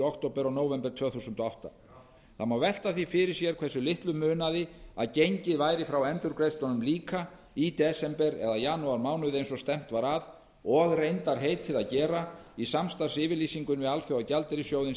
október og nóvember tvö þúsund og átta það má velta því fyrir sér hversu litlu munaði að gengið væri frá endurgreiðslunum líka í desember eða janúarmánuði eins og stefnt var að og reyndar heitið að gera í samstarfsyfirlýsingunni við alþjóðagjaldeyrissjóðinn